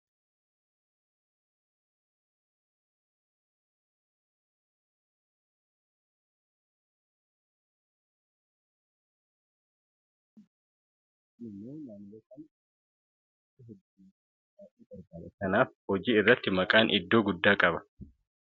Bakkeewwan hedduutti manni nyaataa maqaa hedduu moggaafachuudhaan hojii hojjechaa jira. Maqaan isaanii kunis iddoo tokko tokkotti gosoota nyaata hojjetanii fa'aatiin moggaafama. Kun immoo maamiloonni isaanii akka heddumataniif baay'ee gargaara. Kanaaf hojii irratti maqaan iddoo guddaa qaba jechuudha.